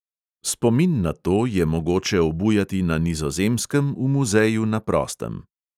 Spomin na to je mogoče obujati na nizozemskem v muzeju na prostem.